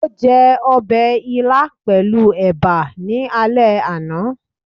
o je obe ílá pelu eba ní àlé ana